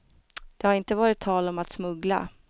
Det har inte varit tal om att smuggla.